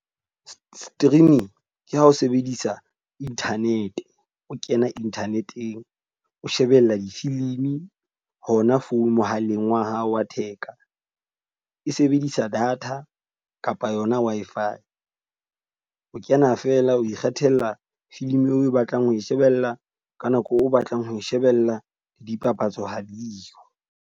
Streaming ke ha o sebedisa internet, o kena internet-eng. O shebella difilimi hona phone mohaleng wa hao wa theka. E se e bedisa data kapa yona Wi_Fi. O kena feela o ikgethela filmi eo o batlang ho e shebella ka nako o batlang ho e shebella, le dipapatso ha diyo.